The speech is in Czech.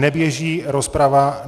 Neběží rozprava -